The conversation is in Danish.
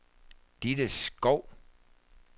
Ditte Skou